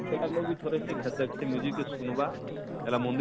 ଥରେ ଘାଏ ଦେଖସି କେ ସୁନବା ହେଟା,